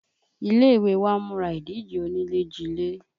Ilé ìwé wa ń múra ìdíje onilejile